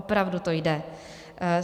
Opravdu to jde.